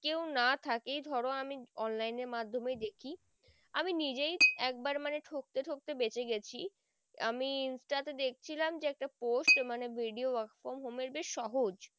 কেউ না থেকেই ধরো আমি online এর মাধ্যমে দেখি আমি নিজেই একবার মানে ঠকতে ঠকতে বেঁচে গেছি আমি insta তে দেখছিলাম যে একটা post মানে একটা video work from home এর বেশ সহজ।